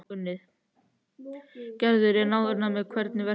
Gerður er ánægð með hvernig verkið er unnið.